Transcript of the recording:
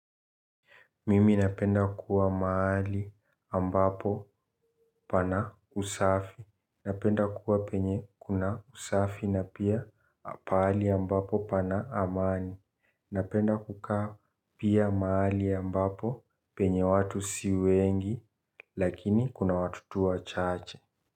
Mimi napenda kuwa mahali ambapo pana usafi, napenda kuwa penye kuna usafi na pia pahali ambapo pana amani, napenda kukaa pia mahali ambapo penye watu si wengi lakini kuna watu tu wachache.